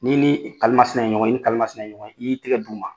N'i ni kalimasina ye ɲɔgɔn ye, i ni kalimasina ye ɲɔgɔn ye. I y'i tɛgɛ d'u ma